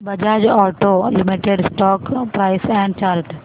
Bajaj auto limited stock price and chart